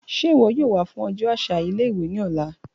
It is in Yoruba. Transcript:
Ṣe iwọ yoo wa fun ọjọ aṣa ile-iwe ni ọla?